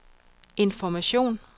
information